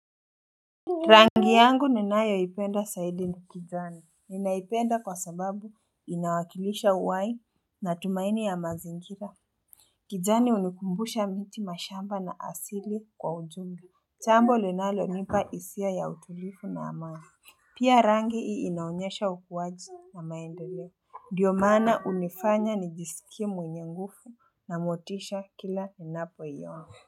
Rangi yangu ninayoipenda saidi ni kijani. Ninaipenda kwa sababu inawakilisha uwai na tumaini ya mazingira. Kijani hunikumbusha miti, mashamba na asili kwa ujumla. Chambo linalonipa hisia ya utulifu na amani. Pia rangi hii inaonyesha ukuwaji na maendeleo. Ndio maana hunifanya nijisikie mwenye nguvu na motisha kila ninapoiona.